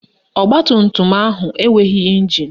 Ọgbatumtum ahụ enweghị ịnjin